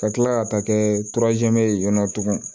Ka kila ka taa kɛ ye yan nɔ tuguni